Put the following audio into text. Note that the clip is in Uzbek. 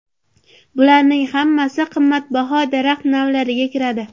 Bularning hammasi qimmatbaho daraxt navlariga kiradi.